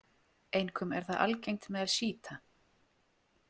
Einkum er það algengt meðal sjíta.